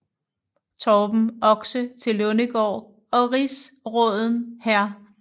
Torben Oxe til Lundegård og rigsråden hr